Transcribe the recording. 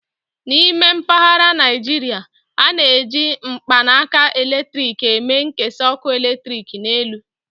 N'ime mpaghara Naijiria, a na-eji mkpanaka eletrik eme nkesa ọkụ eletrik n'elu.